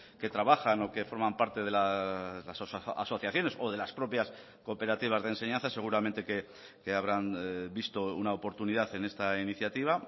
que trabajan o que forman parte de las asociaciones o de las propias cooperativas de enseñanza seguramente que habrán visto una oportunidad en esta iniciativa